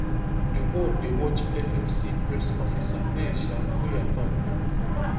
di world dey watch FFC press officer hay sha wiya tok